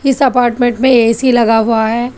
इस अपार्टमेंट में ए_सी लगा हुआ है।